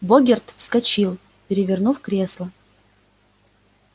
богерт вскочил перевернув кресло